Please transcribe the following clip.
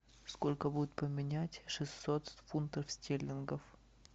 сколько будет поменять шестьсот фунтов стерлингов